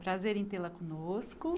Prazer em tê-la conosco.